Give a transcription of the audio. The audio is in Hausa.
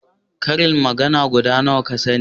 ƙarin magana guda nawa ka sani?